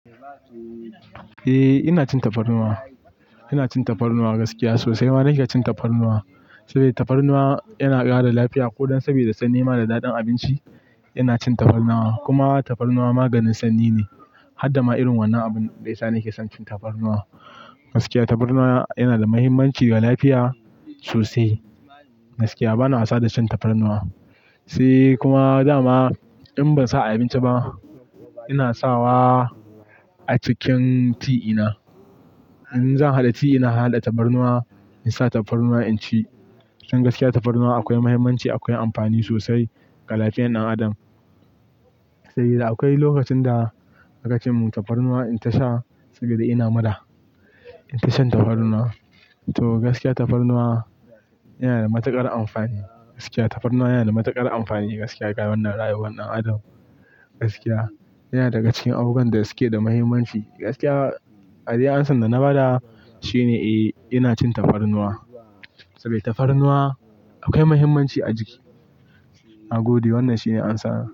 Eh, ina cin tafarnuwa. Ina cin tafarnuwa gaskiya sosai. Waɗanda ke cin tafarnuwa, saboda tafarnuwa yana ƙara lafiya ko dan saboda sannan nema da daɗin abinci. Ina cin tafarnuwa, kuma tafarnuwa maganin sanyi ne. Haddama irin wannan abun daya nake son cin tafarnuwa. Gaskiya tafarnuwa yana da muhimmanci ga lafiya sosai. Gaskiya bana wasa da cin tafarnuwa, sai kuma dama in ban sa a abinci ba, ina sawa a cikin ti ina. In zan haɗa ti ina, na haɗa tafarnuwa in sa tafarnuwa in ci. Don gaskiya tafarnuwa akwai muhimmanci, akwai amfani sosai ga lafiyar ɗan adam. Sai da akwai lokacin da a kace muntafarnuwa in ta sha, saboda ina mura in ta shan tafarnuwa. To gaskiya tafarnuwa yana da matuƙar amfani. Gaskiya tafarnuwa yana da matuƙar amfani gaskiya ga wannan rayuwar ɗan adam. Gaskiya yana daga cikin abubuwan da suke da muhimmanci. Gaskiya, adai amsar da na bada shine, eh ina cin tafarnuwa saboda tafarnuwa akwai muhimmanci a jiki. Na gode wannan shine ansa na.